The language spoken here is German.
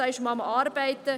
Daran wird gearbeitet.